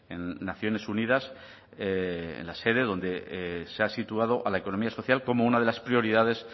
en naciones unidas en la sede donde se ha situado a la economía social como una de las prioridades